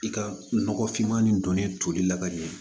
I ka nɔgɔ finman ni donni toli la ka ɲɛ